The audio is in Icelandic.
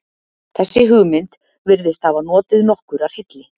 þessi hugmynd virðist hafa notið nokkurrar hylli